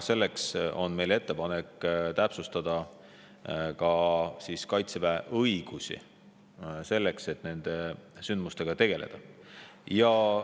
Sellepärast on meie ettepanek täpsustada ka Kaitseväe õigusi nende sündmustega tegelemisel.